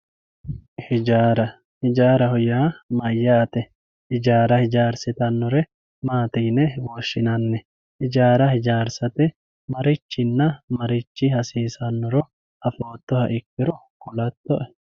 ijaara ijaaraho yaa mayaate ijaara ijaarsitannore maati yine woshshinanni ijaara ijaarsate marichinna marichi hasiisannoro afootoha ikkiro kulatto"e